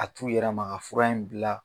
A t'u yɛrɛ ma ka fura in bila